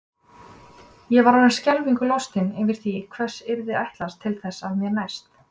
Ég var orðin skelfingu lostin yfir því hvers yrði ætlast til af mér næst.